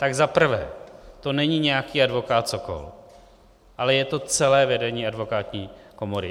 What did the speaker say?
Tak za prvé, to není nějaký advokát Sokol, ale je to celé vedení advokátní komory.